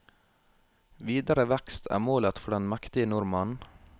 Videre vekst er målet for den mektige nordmannen.